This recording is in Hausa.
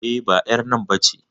E, ba ƴar nan ba ce.